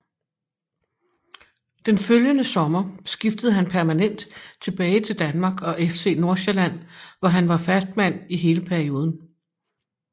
Den følgende sommer skiftede han permanent tilbage til Danmark og FC Nordsjælland hvor han var fastmand i hele perioden